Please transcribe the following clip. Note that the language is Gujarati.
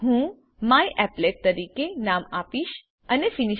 હું મ્યાપલેટ તરીકે નામ આપીશ અને ફિનિશ